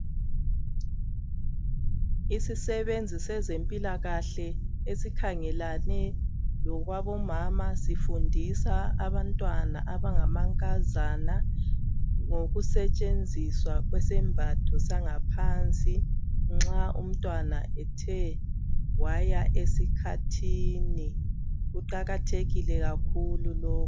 Isisebenzi sezempilakahle esikhangelane lokwabomama sifundisa abantwana abangamankazana ngokusetshenziswa kwesembatho sangaphansi nxa umntwana ethe waya esikhathini. Kuqakathekile kakhulu lokhu.